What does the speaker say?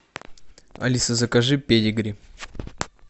алиса закажи педигри